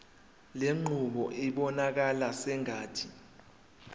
lenqubo ibonakala sengathi